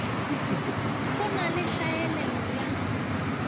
go na le tlhaelelo ya